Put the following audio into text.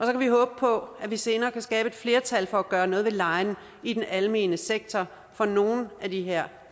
kan vi håbe på at vi senere kan skabe et flertal for at gøre noget ved lejen i den almene sektor for nogle af de her